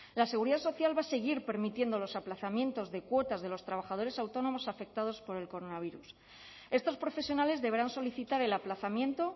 la seguridad social va a seguir permitiendo los aplazamientos de cuotas de los trabajadores autónomos afectados por el coronavirus estos profesionales deberán solicitar el aplazamiento